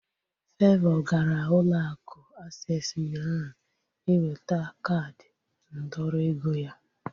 Favour gara ụlọ akụ aksesị ụnyaahụ iweta kaadi ndọrọ ego ya